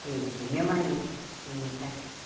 Conheci o meu marido e me casei.